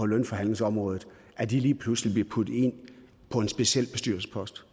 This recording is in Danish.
lønforhandlingsområdet lige pludselig bliver puttet ind på en speciel bestyrelsespost